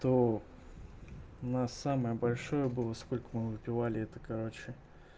то у нас самое большое было сколько мы выпивали это короче